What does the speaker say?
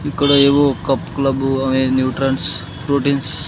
ఇక్కడ ఏవో కప్క్లబు ఆయా న్యూట్రన్స్ ప్రోటీన్స్ .